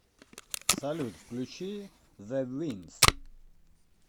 салют включи зэ винс